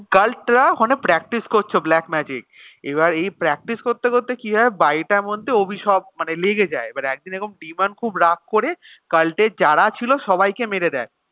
কাল্টরা ওখানে practice করছে black magic এবার এই practice করতে করতে কিভাবে বাড়িটার মধ্যে অভিশাপ মানে লেগে যায় এবার একদিন এরকম পিমান খুব রাগ করে কাল্ট এ যারা ছিল সবাইকে মেরে দেয়